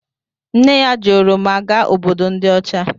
Nne ya ji oroma gaa Obodo ndi ocha